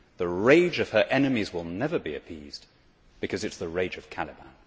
The rage of her enemies will never be appeased because it is the rage of Caliban.